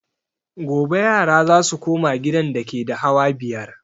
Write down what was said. Gobe yara za su koma gidan dake da hawa biyar